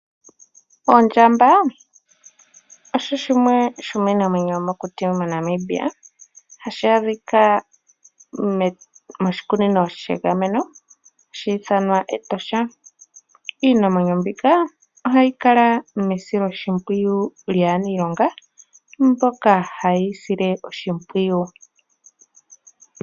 Ondjamba osho shimwe shomiinamwenyo yomokuti moNamibia, hashi adhika moshikunino shiinamwenyo hashi ithanwa Etosha. Iinamwenyo mbika ohayi kala mesiloshimpwiyu lyaaniilonga mboka haye yi sile oshimpwiyu.